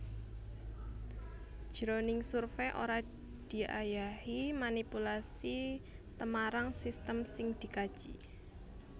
Jroning survey ora diayahi manipulasi tmarang sistem sing dikaji